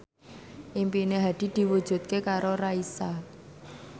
impine Hadi diwujudke karo Raisa